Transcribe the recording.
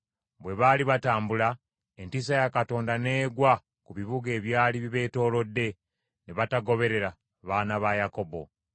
Bwe baali batambula, entiisa ya Katonda n’egwa ku bibuga ebyali bibeetoolodde, ne batagoberera baana ba Yakobo.